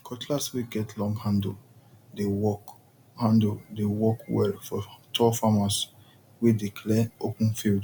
cutlass wey get long handle dey work handle dey work well for tall farmers wey dey clear open field